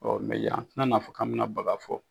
yan an tɛna n'a fɔ k'an bɛna baga fɔ.